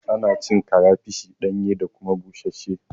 Ana cin karafish ɗanye da kuma busasshe